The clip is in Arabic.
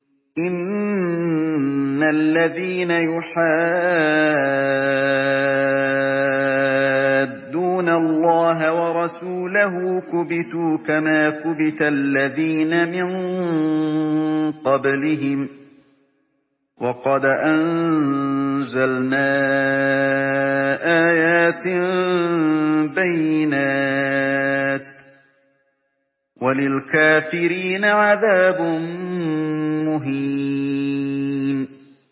إِنَّ الَّذِينَ يُحَادُّونَ اللَّهَ وَرَسُولَهُ كُبِتُوا كَمَا كُبِتَ الَّذِينَ مِن قَبْلِهِمْ ۚ وَقَدْ أَنزَلْنَا آيَاتٍ بَيِّنَاتٍ ۚ وَلِلْكَافِرِينَ عَذَابٌ مُّهِينٌ